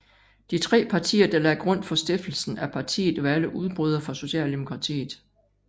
De tre partier der lagde grund for stiftelsen af partiet var alle udbrydere fra Socialdemokratiet